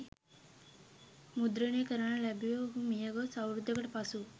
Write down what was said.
මුද්‍රණය කරන ලැබුවේ ඔහු මියගොස් අවුරුද්දකට පසු